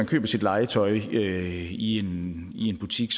køber sit legetøj i en butik